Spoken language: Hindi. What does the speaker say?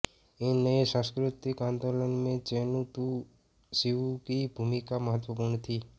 इस नये सांस्कृतिक आंदोलन में चेन तु सिउ की भूमिका महत्वपूर्ण थी